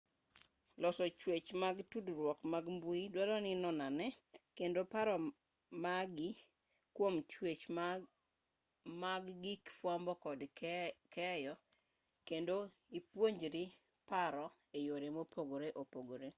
loso chwech mag tudruok mag mbui duaro ni inonane kendo paro magi kwom chwech mag gig fwambo kod keyo kendo ipuonjri paro e yore mopogore opogore